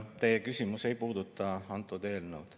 Teie küsimus ei puuduta antud eelnõu.